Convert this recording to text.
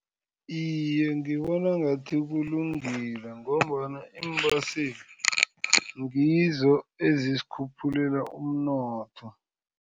Iye, ngibona ngathi kulungile ngombana iimbhesi ngizo ezisikhuphulela umnotho.